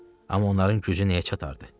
Amma onların gücü nəyə çatardı?